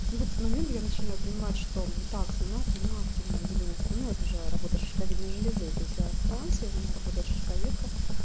вот в этот момент я начинаю понимать что так слюна слюна активное выделение слюны это же работа шишковидной железы то есть я в трансе у меня работает шишковедка